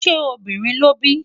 ṣé obìnrin lóbí?